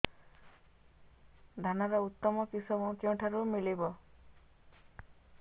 ଧାନର ଉତ୍ତମ କିଶମ କେଉଁଠାରୁ ମିଳିବ